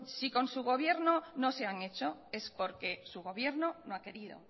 si con su gobierno no se han hecho es porque su gobierno no ha querido